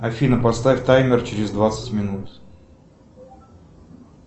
афина поставь таймер через двадцать минут